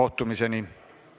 Istungi lõpp kell 14.03.